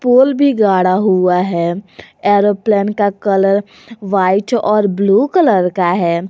पोल भी गाड़ा हुआ है एरोप्लेन का कलर वाइट और ब्लू कलर का है।